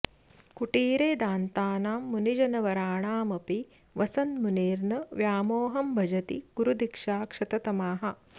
कुटीरे दान्तानां मुनिजनवराणामपि वसन् मुनिर्न व्यामोहं भजति गुरुदीक्षाक्षततमाः